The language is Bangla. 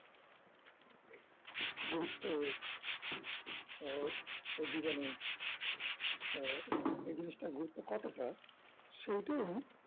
গুরুত্ব আহ ওর জীবনে আহ এই জিনিসটার গুরুত্ব কতটা সেইটাই উনি